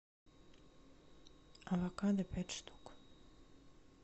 авокадо пять штук